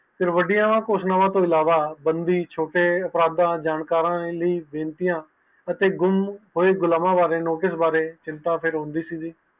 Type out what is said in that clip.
ਇਹ ਵੱਡੀਆਂ ਘੋਸ਼ਣਾਵਾਂ ਤੋਂ ਇਲਾਵਾ ਛੋਟੇ ਅਪ੍ਰਦਾ ਜਾਣਕਾਰ ਦੀ ਵੈਂਟੀਆ ਅਤੇ ਗੰਮ ਹੋਏ ਗੁਲਾਵ ਬਾਰੇ ਕੀੜਾ ਵਿਰੋਂਦੀ ਸੀ